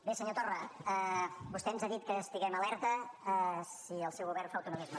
bé senyor torra vostè ens ha dit que estiguem alerta si el seu govern fa autonomisme